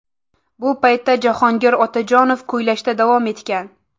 Bu paytda Jahongir Otajonov kuylashda davom etgan.